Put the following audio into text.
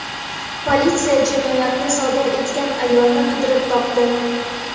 Politsiya jinoyatni sodir etgan ayolni qidirib topdi.